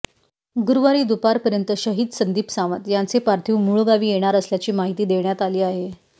गुरुवारी दुपारपर्यंत शहिद संदीप सावंत यांचे पार्थिव मुळगावी येणार असल्याची माहिती देण्यात आली आहे